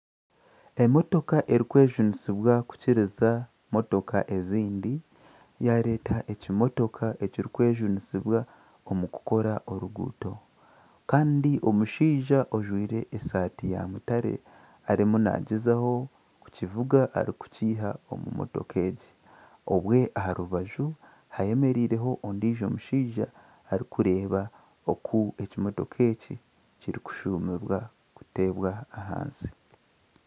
Emotoka erikwejunisibwa kukiriza emotoka ezindi, yaareeta ekimotoka ekirikwejunisibwa omu kukora oruguuto kandi omushaija ojwire esaati ya mutaare, arimu naagyezaho kukivuga kukiiha omu mutooka egi obwo aha rubaju hemereireho ondiijo mushaija arikureeba oku ekimotoka eki kirikushumibwa kuteebwa ahansi